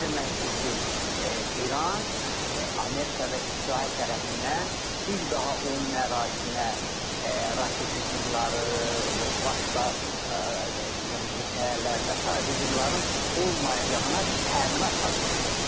Bu o deməkdir ki, İran Amerika və İsrail tərəfindən bir daha onun ərazisinə raket hücumları və başqa qırıcı təyyarələr və sair hücumların olmayacağına təminat almaq istəyir.